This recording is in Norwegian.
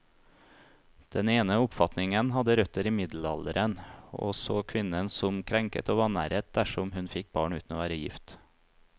Den ene oppfatningen hadde røtter i middelalderen, og så kvinnen som krenket og vanæret dersom hun fikk barn uten å være gift.